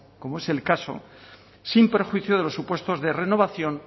como es el caso sin perjuicio de los supuestos de renovación